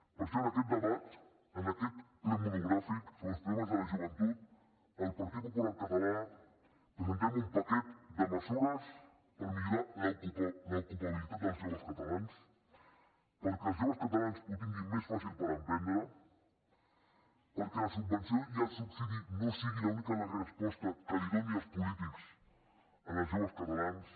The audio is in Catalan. per això en aquest debat en aquest ple monogràfic sobre els problemes de la joventut el partit popular català presentem un paquet de mesures per millorar l’ocupabilitat dels joves catalans perquè els joves catalans ho tinguin més fàcil per emprendre perquè la subvenció i el subsidi no siguin l’única resposta que donin els polítics als joves catalans